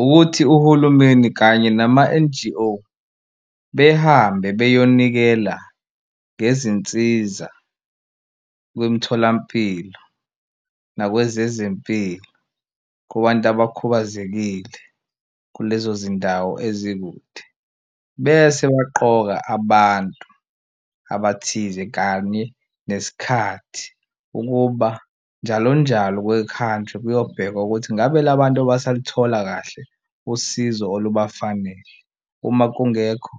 Ukuthi uhulumeni kanye nama-N_G_O behambe beyonikela ngezinsiza kwemtholampilo nakwezezempilo, kubantu abakhubazekile kulezo zindawo ezikude, bese baqoka abantu abathize kanye nesikhathi ukuba njalonjalo kuke kuhanjwe kuyobheka ukuthi ngabe la bantu basaluthola kahle usizo olubafanele. Uma kungekho